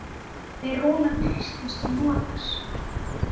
Fer Rúnar Kristins til Noregs?